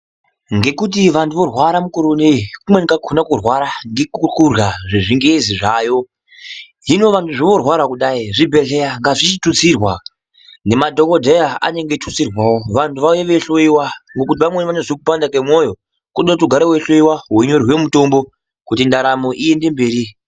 Ngekuti vanhu vorwara mukore uno, kumweni kwakhona kurwara ngekwerya zvechingezi zvaayo. Hino vanhu vorwara kudayi, zvibhedhlera ngazvichitutsirwa nemadhokodheya anenge achitutsirwawo vanhu vauye veihloyiwa ngekuti vanhu vamweni vane vachirwara ngekupanda kwemwoyo, kunoda kuti ugare weihloyiwa weinyorerwe mitombo kuti ndaramo iende mberi.